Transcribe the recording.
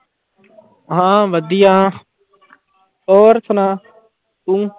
ਹਾਂ ਵਧੀਆ ਹੋਰ ਸੁਣਾ ਤੂੰ।